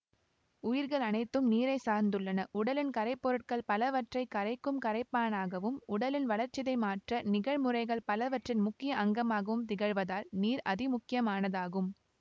உயிர்களனைத்தும் நீரைச் சார்ந்துள்ளனஉடலின் கரைபொருட்கள் பலவற்றை கரைக்கும் கரைப்பானாகவும் உடலின் வளர்சிதைமாற்ற நிகழ் முறைகள் பலவற்றின் முக்கிய அங்கமாகவும் திகழ்வதால் நீர் அதிமுக்கியமானதாகும்